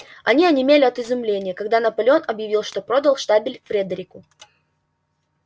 они онемели от изумления когда наполеон объявил что продал штабель фредерику